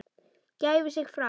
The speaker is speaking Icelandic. gæfi sig fram.